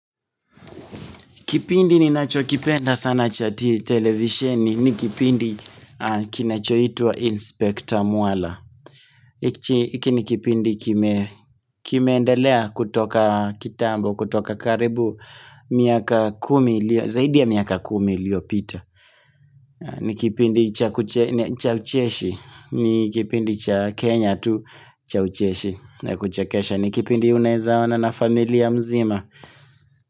Kipindi ninacho kipenda sana chai televisini, ni kipindi kinachoitwa Inspector Mwala. Iki ni kipindi kimeendelea kutoka kitambo, kutoka karibu, miaka kumi lio, zaidi ya miaka kumi liyo pita. Ni kipindi cha ucheshi, ni kipindi cha Kenya tu cha ucheshi, ni kuchakesha, ni kipindi unawezaona na familia mzima.